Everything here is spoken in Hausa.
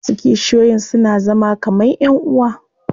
Wasu kishiyoyin suna zama kaman ƴan uwa.